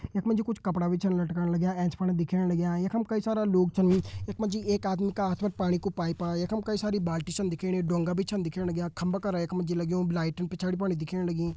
यख मा जी कुछ कपड़ा भी छन लटकण लग्यां एंच फण दिखेण लग्यां यख मा कई सारा लोग छिन यख मा जी एक आदमी का हाथ मा पाणी को पाइपा यख मा कई सारा पाणी की बाल्टी छिन दिखेणी डोंगा भी छिन दिखेणा लग्यां खम्बा यफून लग्युं लाइटिंग पिछाड़ी पर दिखेणी लगीं।